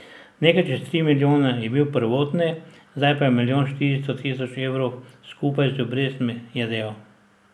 Nekaj čez tri milijone je bil prvotni, zdaj pa je milijon štiristo tisoč evrov skupaj z obrestmi, je dejal.